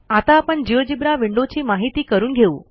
आता आपण जिओजेब्रा विंडोची माहिती करून घेऊ